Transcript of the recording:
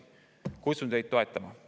Kutsun teid toetama.